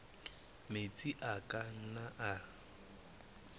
metsi a ka nnang a